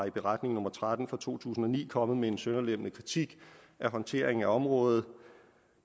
i beretning nummer tretten fra to tusind og ni kommet med en sønderlemmende kritik af håndteringen af området